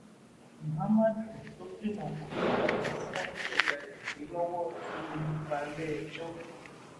muhammadu tó gbìmọ pọ pẹlú àwọn tí wọn jí ọgá rẹ gbé lọwọ ti fojú balẹẹjọ